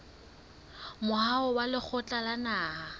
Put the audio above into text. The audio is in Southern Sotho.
moaho wa lekgotla la naha